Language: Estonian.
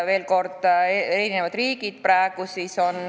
Seda peaks uurima Hispaaniast.